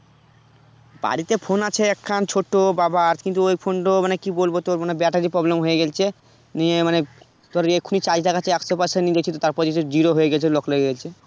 বাড়িতে phone আছে একখান ছোট বাবার কিন্তু ওই phone তো মানে কি বলব তোর মানে battery problem হয়ে গেছে নিয়ে মানে তোর এখুনি charge দেখাচ্ছে একশো percent নিয়ে গেছিলো তারপর দেখছি zero হয়ে গেছে lock লেগে গেছে ।